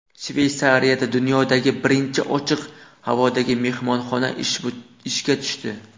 Shveysariyada dunyodagi birinchi ochiq havodagi mehmonxona ishga tushdi.